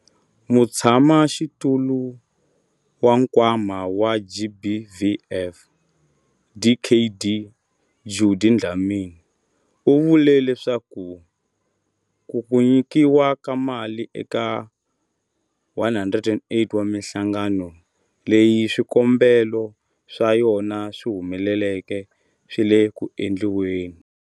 Mutshamaxitulu wa Nkwama wa GBVF, Dkd Judy Dlamini, u vule leswaku ku nyikiwa ka mali eka 108 wa mihlangano leyi swikombelo swa yona swi humeleleke swi le ku endliweni.